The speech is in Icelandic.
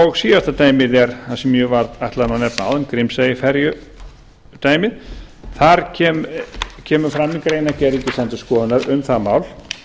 og síðasta dæmið er það sem ég ætlaði að nefna áðan grímseyjaferjudæmið þar kemur fram í greinargerð ríkisendurskoðunar um það mál